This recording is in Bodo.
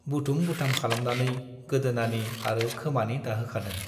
बुथुम- बुथाम खालामनानै गोदोनानि आरो खोमानि दाहोखादों।